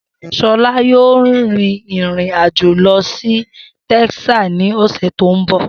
Shola yóò rin ìrìn-àjò lọ sí Texas ní ọ̀sẹ̀ tó ń bọ̀.